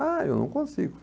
Ah, eu não consigo.